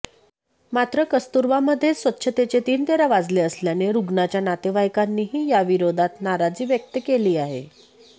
मात्र कस्तुरबामध्येच स्वच्छतेचे तीनतेरा वाजले असल्याने रुग्णाच्या नातेवाईकांनीही याविरोधात नाराजी व्यक्त केली आहे